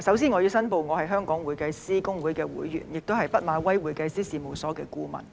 主席，首先我要申報我是香港會計師公會會員，亦是畢馬威會計師事務所的顧問。